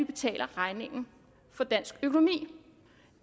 betaler regningen for dansk økonomi